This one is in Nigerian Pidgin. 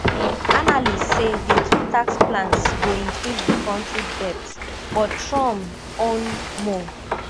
analysts say di two tax plans go increase di kontri debts but trump own more